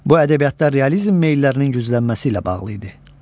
Bu ədəbiyyatda realizm meyillərinin güclənməsi ilə bağlı idi.